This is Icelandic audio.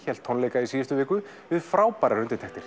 hélt tónleika í síðustu viku við frábærar undirtektir